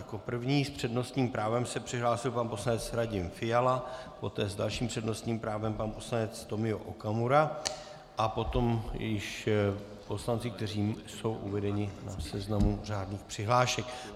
Jako první s přednostním právem se přihlásil pan poslanec Radim Fiala, poté s dalším přednostním právem pan poslanec Tomio Okamura a potom již poslanci, kteří jsou uvedeni na seznamu řádných přihlášek.